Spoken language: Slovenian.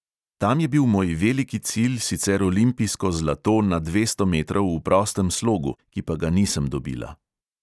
Tam je bil moj veliki cilj sicer olimpijsko zlato na dvesto metrov v prostem slogu, ki pa ga nisem dobila.